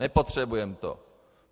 Nepotřebujeme to.